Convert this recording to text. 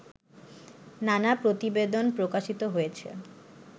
নানা প্রতিবেদন প্রকাশিত হয়েছে